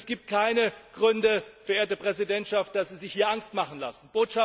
Es gibt keine Gründe, verehrte Präsidentschaft, dass Sie sich hier Angst machen lassen.